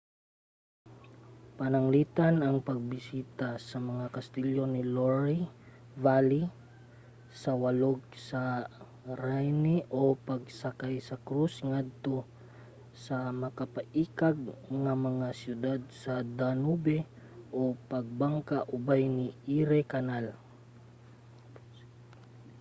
pananglitan ang pagbisita sa mga kastilyo sa loire valley sa walog sa rhine o pagsakay sa cruise ngadto sa makapaikag nga mga siyudad sa danube o pagbangka ubay sa erie canal